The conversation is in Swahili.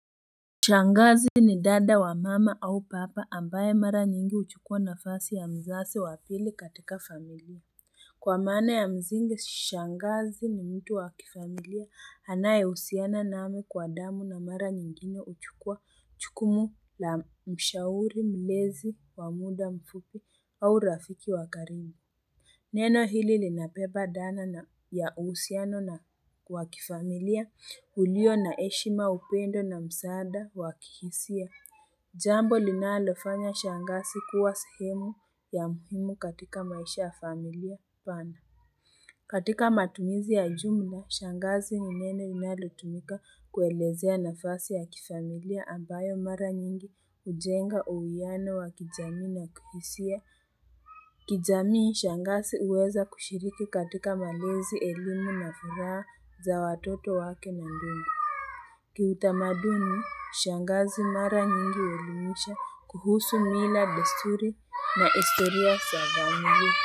Shangazi ni dada wa mama au papa ambaye mara nyingi huchukua nafasi ya mzazi wa pili katika familia. Kwa maana ya msingi, shangazi ni mtu wa kifamilia anayehusiana nami kwa damu na mara nyingine huchukua jukumu la mshauri, mlezi wa muda mfupi au rafiki wa karibu. Neno hili linabeba dhana na ya uhusiano na wa kifamilia ulio na heshima upendo na msaada wa kihisia. Jambo linalofanya shangazi kuwa sehemu ya muhimu katika maisha ya familia pana. Katika matumizi ya jumla, shangazi ni neno linalotumika kuelezea nafasi ya kifamilia ambayo mara nyingi hujenga uwiano wa kijamii na kihisia. Kijamii, shangazi huweza kushiriki katika malezi elimu na furaha za watoto wake na ndugu. Kiutamaduni, shangazi mara nyingi huelimisha kuhusu mila desturi na historia za familia.